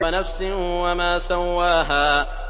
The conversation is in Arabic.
وَنَفْسٍ وَمَا سَوَّاهَا